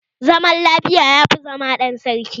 Zaman lafiya yafi zama ɗan sarki.